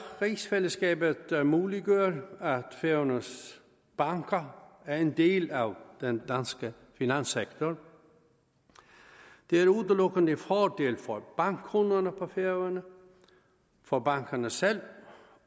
rigsfællesskabet der muliggør at færøernes banker er en del af den danske finanssektor det er udelukkende en fordel for bankkunderne på færøerne for bankerne selv